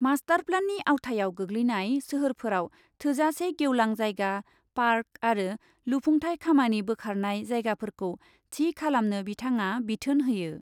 मास्टारप्लेननि आवथायाव गोग्लैनाय सोहोरफोराव थोजासे गेवलां जायगा, पार्क आरो लुफुंथाय खामानि बोखारनाय जायगाफोरखौ थि खालामनो बिथाङा बिथोन होयो।